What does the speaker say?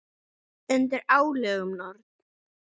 Undir álögum Norn!